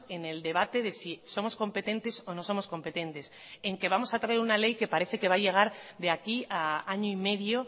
en el debate de si somos competentes o no somos competentes en que vamos a traer una ley que parece que va a llegar de aquí a año y medio